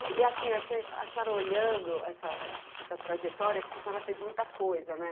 E assim, a senhora olhando essa trajetória, porque a senhora fez muita coisa, né?